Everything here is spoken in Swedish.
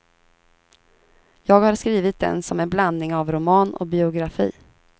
Jag har skrivit den som en blandning av roman och biografi.